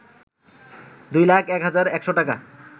২ লাখ ১ হাজার ১০০ টাকা